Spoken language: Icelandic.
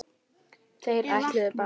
Þeir ætluðu bara